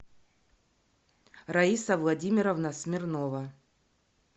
раиса владимировна смирнова